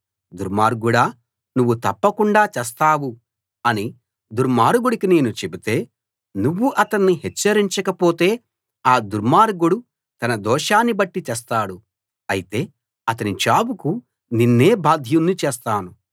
దుర్మార్గుడా నువ్వు తప్పకుండా చస్తావు అని దుర్మార్గుడికి నేను చెబితే నువ్వు అతణ్ణి హెచ్చరించకపోతే ఆ దుర్మార్గుడు తన దోషాన్ని బట్టి చస్తాడు అయితే అతని చావుకు నిన్నే బాధ్యుని చేస్తాను